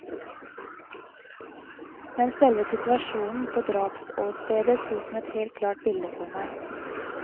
Men selve situasjonen på drapsåstedet sto som et helt klart bilde for meg.